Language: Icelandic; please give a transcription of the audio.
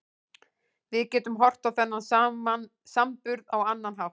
Við getum horft á þennan samburð á annan hátt.